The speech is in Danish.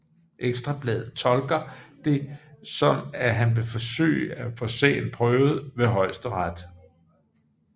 Ekstra Bladet tolker det som at han vil forsøge at få sagen prøvet ved Højesteret